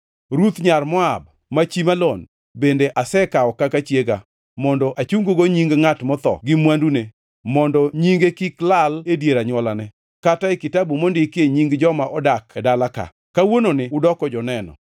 Ruth nyar Moab, ma chi Malon, bende asekawo kaka chiega, mondo achung-go nying ngʼat motho gi mwandune, mondo nyinge kik lal e dier anywolane, kata e kitabu mondikie nying joma odak e dala-ka. Kawuononi udoko joneno!”